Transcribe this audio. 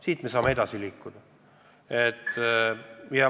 Sealt me saame edasi liikuda.